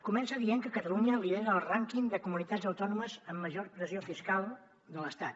comença dient que catalunya lidera el rànquing de comunitats autònomes amb major pressió fiscal de l’estat